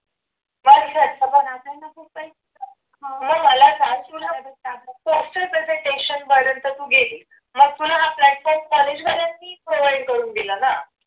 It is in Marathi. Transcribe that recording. मग मला सांग question presentation पर्यंत तू गेलीस. मग तुला हा platform college वाल्यांनी provide करून दिला का?